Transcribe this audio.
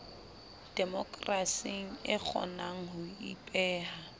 demokerasing e kgonang ho ipeha